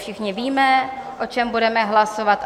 Všichni víme, o čem budeme hlasovat.